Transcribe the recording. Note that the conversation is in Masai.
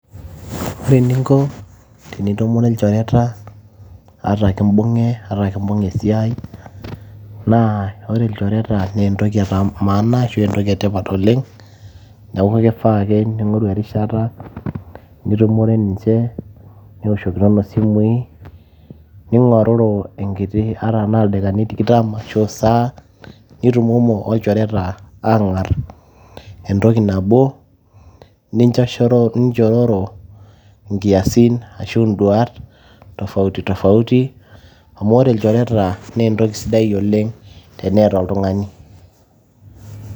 Ore eninko tenitumore ilchoreta, ata kibung'e ata kibung'e esiai, naa ore ilchoreta naa entoki emaana ashu entoki etipat oleng, neeku kifaa ake ning'oru erishata, nitumore ninche, niwoshokinono simui, ning'oruru enkiti, ata enaa ildaikani tikitam ashu esaa, nitumomo olchoreta aang'ar entoki nabo, ninchororo inkiasin ashu duat, tofauti tofauti, amu ore ilchoreta na entoki sidai oleng' teneeta oltung'ani.